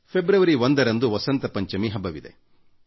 February 1 ರಂದು ವಸಂತ ಪಂಚಮಿ ಹಬ್ಬವಿದೆ